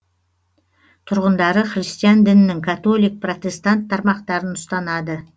тұрғындары христиан дінінің католик протестант тармақтарын ұстанады